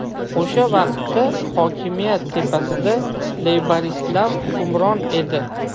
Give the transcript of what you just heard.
O‘sha vaqtda hokimiyat tepasida leyboristlar hukmron edi.